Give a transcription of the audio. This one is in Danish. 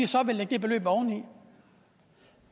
så vil lægge det beløb oveni